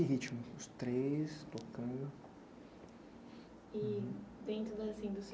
ritmo, os três tocando. E dentro assim do